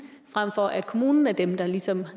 frem for at kommunen er dem der ligesom